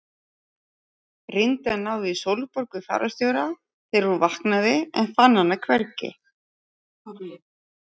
Reyndi að ná í Sólborgu fararstjóra þegar hún vaknaði en fann hana hvergi.